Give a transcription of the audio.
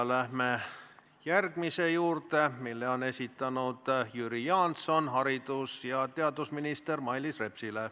Läheme järgmise küsimuse juurde, mille esitab Jüri Jaanson haridus- ja teadusminister Mailis Repsile.